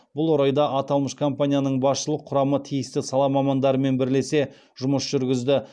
бұл орайда аталмыш компанияның басшылық құрамы тиісті сала мамандарымен бірлесе жұмыс жүргізді